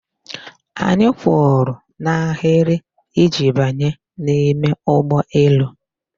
Anyị kwụrụ n'ahịrị iji banye n'ime ụgbọelu.